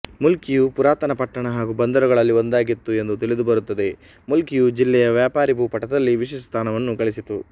ಮೂಲ್ಕಿಯು ಪುರಾತನ ಪಟ್ಟಣ ಹಾಗೂ ಬಂದರುಗಳಲ್ಲಿ ಒಂದಾಗಿತ್ತು ಎಂದು ತಿಳಿದುಬರುತ್ತದೆ ಮೂಲ್ಕಿಯು ಜಿಲ್ಲೆಯ ವ್ಯಾಪಾರೀ ಭೂಪಟದಲ್ಲಿ ವಿಶಿಷ್ಟ ಸ್ಥಾನವನ್ನು ಗಳಿಸಿತು